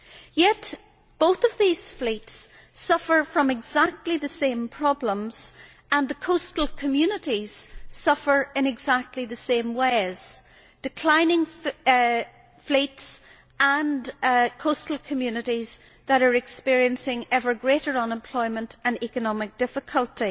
Yet both these fleets suffer from exactly the same problems, and the coastal communities suffer in exactly the same ways declining fleets and coastal communities that are experiencing ever greater unemployment and economic difficulty.